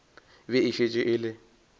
be e šetše e le